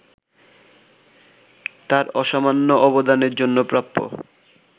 তাঁর অসামান্য অবদানের জন্য প্রাপ্য